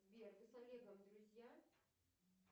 сбер вы с олегом друзья